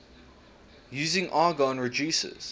using argon reduces